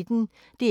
DR P1